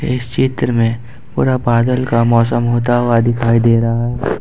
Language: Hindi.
इस चित्र में पूरा बादल का मौसम होता हुआ दिखाई दे रहा है ।